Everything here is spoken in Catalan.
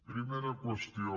primera qüestió